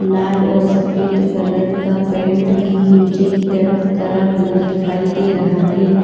लाल और सफेद कलर का पेंट भी नीचे की तरफ करा हुआ दिखाई दे रहा है।